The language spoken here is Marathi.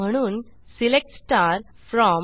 म्हणून सिलेक्ट फ्रॉम